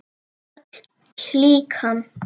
Öll klíkan.